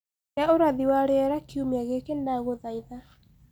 gia ũrathi wa rĩera kĩumĩa giki ndagũthaitha